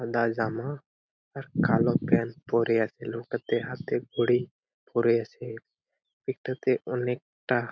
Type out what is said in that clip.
সাদা জামা আর কালো প্যান্ট পরে আছে লোকটা হাতে ঘড়ি পরে আছে । এটাতে অনেকটা--